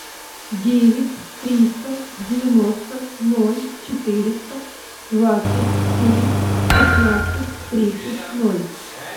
девять триста девяносто ноль четыреста двадцать семь шестнадцать тридцать ноль